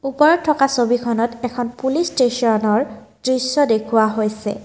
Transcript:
ওপৰত থকা ছবিখনত এখন পুলিচ ষ্টেচনৰ দৃশ্য দেখুওৱা হৈছে।